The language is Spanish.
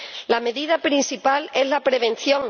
La medida principal es la prevención.